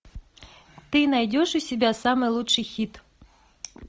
ты найдешь у себя самый лучший хит